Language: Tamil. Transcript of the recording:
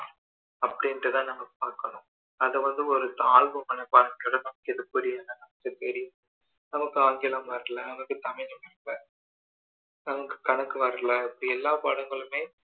அப்படின்னு தான் நம்ம பார்க்கணும் அதை வந்து ஒரு தாழ்வு மனப்பான்மை ஓட நமக்கு எது புரியல நமக்கு தெரியல நமக்கு ஆங்கிலம் வர்ல நமக்கு தமிழ் வர்ல் நமக்கு கணக்கு வர்ல இப்படி எல்லா பாடங்களுமே